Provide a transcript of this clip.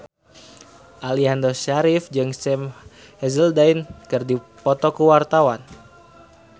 Aliando Syarif jeung Sam Hazeldine keur dipoto ku wartawan